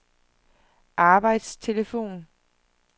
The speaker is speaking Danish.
arbejdstelefon